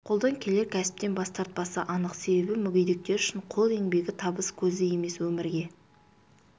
қолдан келер кәсіптен бас тартпасы анық себебі мүегедектер үшін қол еңбегі табыс көзі емес өмірге